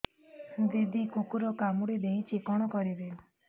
ଦିଦି କୁକୁର କାମୁଡି ଦେଇଛି କଣ କରିବି